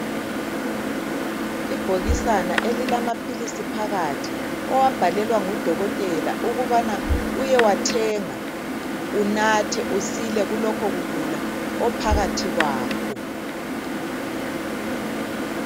Ibhokisana elilamaphilizi phakathi owabhalelwa ngudokotela ukubana uyewathenga, unathe, usile kulokhu kugula ophakathi kwakho.